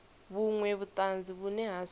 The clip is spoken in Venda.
vhunwe vhutanzi vhune ha si